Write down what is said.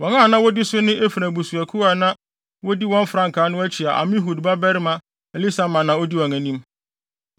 Wɔn a na wodi so ne Efraim abusuakuw a na wodi wɔn frankaa no akyi a Amihud babarima Elisama na odi wɔn anim;